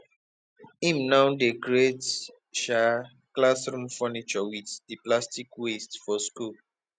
im now dey create um classroom furniture wit di plastic waste for skul